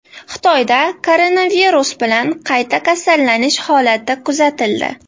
Xitoyda koronavirus bilan qayta kasallanish holati kuzatildi.